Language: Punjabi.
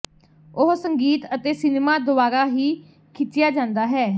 ਉਹ ਸੰਗੀਤ ਅਤੇ ਸਿਨੇਮਾ ਦੁਆਰਾ ਹੀ ਖਿੱਚਿਆ ਜਾਂਦਾ ਹੈ